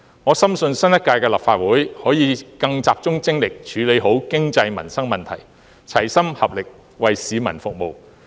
我深信新一屆立法會可以更集中精力處理好經濟、民生問題，齊心合力，為市民服務。